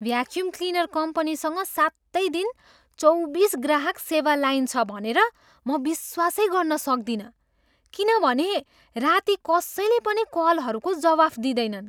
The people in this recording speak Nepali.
भ्याक्युम क्लिनर कम्पनीसँग सातै दिन, चौबिस ग्राहक सेवा लाइन छ भनेर म विश्वासै गर्न सक्दिनँ किनभने राति कसैले पनि कलहरूको जवाफ दिँदैनन्।